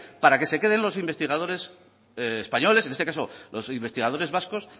para que se queden los investigadores españoles en este caso los investigadores vascos